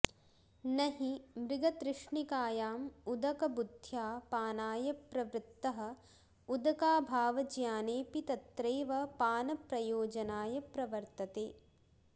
न हि मृगतृष्णिकायां उदकबुद्ध्या पानाय प्रवृत्तः उदकाभावज्ञानेऽपि तत्रैव पानप्रयोजनाय प्रवर्तते